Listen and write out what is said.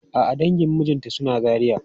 A'a dangin mijinta suna Zaria.